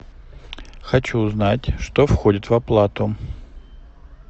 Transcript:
хочу узнать что входит в оплату